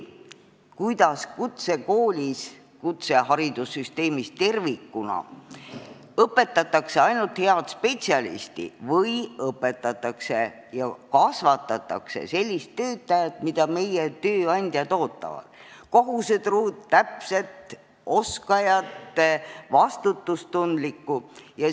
Kas kutseharidussüsteemis tervikuna õpetatakse ainult head spetsialisti või õpetatakse ja kasvatatakse sellist töötajat, keda meie tööandjad ootavad – kohusetruud, täpset, oskajat, vastutustundlikku?